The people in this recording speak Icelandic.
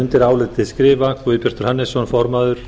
undir álitið skrifa guðbjartur hannesson formaður